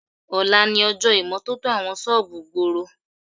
Ọ̀la ni ọjọ́ ìmọ́tótó àwọn ṣọ́ọ̀bù ìgboro